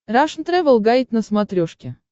рашн тревел гайд на смотрешке